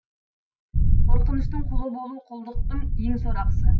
қорқыныштың құлы болу құлдықтың ең сорақысы